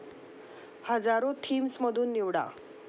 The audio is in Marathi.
हजारो थीम्स मधुन निवडा